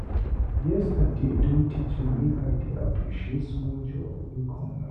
Yesterday don teach me make I dey appreciate small joy wey come my way.